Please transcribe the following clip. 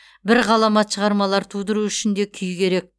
бір ғаламат шығармалар тудыру үшін де күй керек